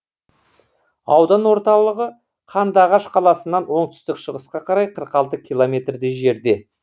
аудан орталығы қандыағаш қаласынан оңтүстік шығысқа қарай қырық алты километрдей жерде